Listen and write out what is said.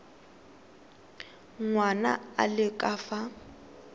ngwana a le ka fa